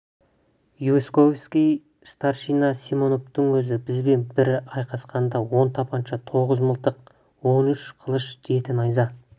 войсковой старшина симоновтың өзі бізбен бір айқасқанында он тапанша тоғыз мылтық он үш қылыш жеті найза